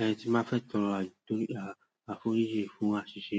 Ẹrhen, tí báa fẹ́ tọrọ àforíjì fún àṣìṣe